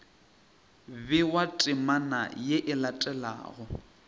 bewa temana ye e latelago